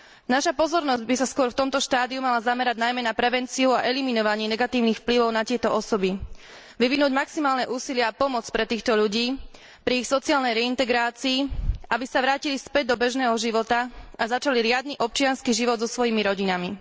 Naša pozornosť by sa skôr v tomto štádiu mala zamerať najmä na prevenciu a eliminovanie negatívnych vplyvov na tieto osoby, vyvinúť maximálne úsilie a pomoc pre týchto ľudí pri ich sociálnej reintegrácii, aby sa vrátili späť do bežného života a začali riadny občiansky život so svojimi rodinami.